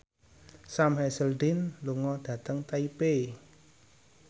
Sam Hazeldine lunga dhateng Taipei